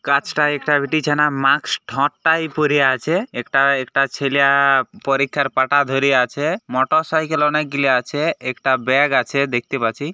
কাছটাই একটা বিটিছানা মাক্স ঠোটটাই পরে আছে একটা একটা ছেলা-আ পরীক্ষার পাটা ধরে আছে মোটরসাইকেল অনেকগুলি আছে একটা ব্যাগ আছে দেখতে পাছি।